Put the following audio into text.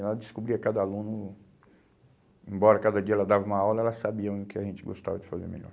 Ela descobria cada aluno, embora cada dia ela dava uma aula, ela sabia o que a gente gostava de fazer melhor.